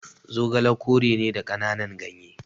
Zogale kore ne da kananan gyanye